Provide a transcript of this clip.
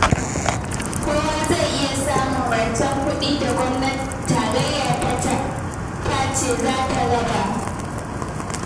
Kowa zai iya samun rancen kuɗi da gwamnatin tarayya ta ce za ta raba